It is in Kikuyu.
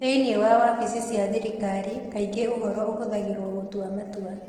Thĩinĩ wa wabici cia thirikari, kaingĩ ũhoro ũhũthagĩrũo gũtua matua.